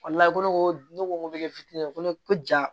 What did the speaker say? ko ne ko ne ko ŋo kɛ fiti ye ko ne ko ja